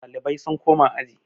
Ɗalibai sun koma aji